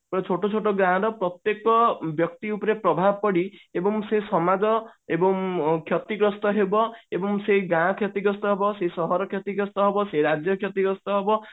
ଗୋଟେ ଛୋଟୋ ଛୋଟୋ ଗାଁ ର ପ୍ରତ୍ୟକ ବ୍ୟକ୍ତି ଉପରେ ପ୍ରଭାବ ପଡି ଏବଂ ସେ ସମାଜ ଏବଂ କ୍ଷତିଗ୍ରସ୍ତ ହେବ ଏବଂ ସେଇ ଗାଁ କ୍ଷ୍ୟତିଗ୍ରସ୍ତ ହେବ ସେହି ସହର କ୍ଷ୍ୟତିଗ୍ରସ୍ତ ହେବ ସେ ରାଜ୍ୟ କ୍ଷ୍ୟତିଗ୍ରସ୍ତ ହେବ